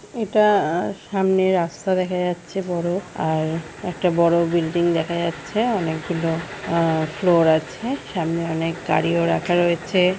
এটা সামনে রাস্তা দেখা যাচ্ছে বড় আর একটা বড় বিল্ডিং দেখা যাচ্ছে। অনেক গুলো ফ্লোর আছে। সামনে অনেক গাড়ি ও রাখা রয়েছে।